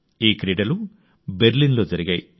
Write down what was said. ఈ క్రీడలు బెర్లిన్లో జరిగాయి